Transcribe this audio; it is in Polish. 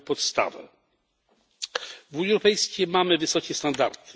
W Unii Europejskiej mamy wysokie standardy.